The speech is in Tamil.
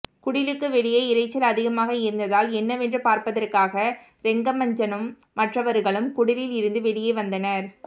குடிலுக்கு வெளியே இரைச்சல் அதிகமாக இருந்ததால் என்னவென்று பார்ப்பதற்காக ரெங்கமஞ்சனும் மற்றவர்களும் குடிலில் இருந்து வெளியே வந்தனர்